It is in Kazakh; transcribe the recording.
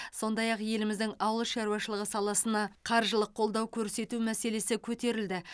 сондай ақ еліміздің ауыл шаруашылығы саласына қаржылық қолдау көрсету мәселесі көтерілді